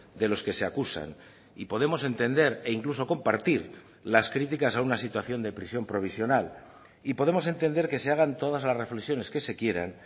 de los que se acusan y podemos entender e incluso compartir las críticas a una situación de prisión provisional y podemos entender que se hagan todas las reflexiones que se quieran